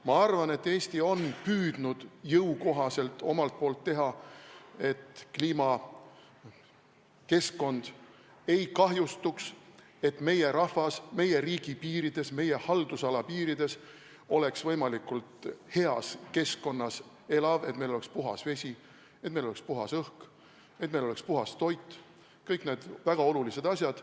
Ma arvan, et Eesti on püüdnud omalt poolt teha jõukohaselt, et kliimakeskkond ei kahjustuks, et meie rahvas meie riigi piirides, meie haldusala piirides oleks võimalikult heas keskkonnas, et meil oleks puhas vesi, et meil oleks puhas õhk, et meil oleks puhas toit – kõik need väga olulised asjad.